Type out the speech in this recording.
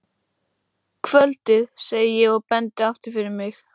Kvöldið, segi ég og bendi aftur fyrir mig.